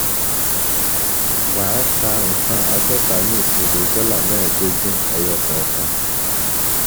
Wà á ta nkán àádọta ní ìṣirò dọ́là mẹẹdogun fifteen dollars ẹyọ kọọkan.